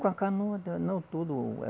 Com a canoa, não tudo.